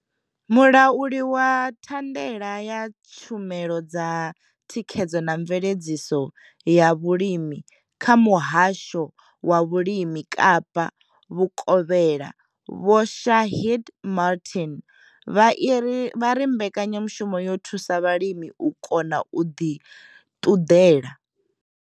Mulauli wa thandela ya tshumelo dza thikhedzo na mveledziso ya vhulimi kha muhasho wa vhulimi kapa vhukovhela vho Shaheed Martin vha ri mbekanyamushumo yo thusa vhalimi u kona u ḓi ṱunḓela.